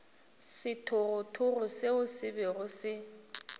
sethogothogo seo se bego se